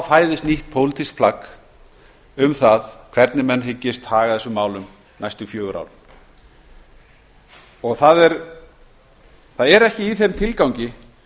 fæðist nýtt pólitískt plagg um það hvernig menn hyggist haga þessum málum næstu fjögur ár það er ekki í þeim tilgangi